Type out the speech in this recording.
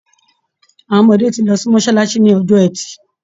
Àwọn ọmọdé tí lọ sí mọ́sálásí ní ọjọ́ ẹtì.